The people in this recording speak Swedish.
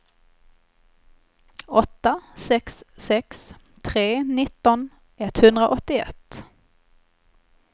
åtta sex sex tre nitton etthundraåttioett